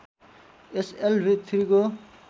एसलभी ३ को